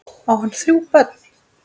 Á hann þrjú börn.